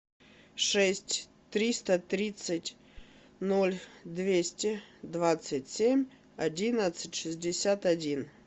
шесть триста тридцать ноль двести двадцать семь одиннадцать шестьдесят один